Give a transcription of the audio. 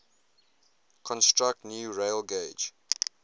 construct new railgauge